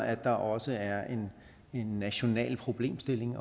at der også er en national problemstilling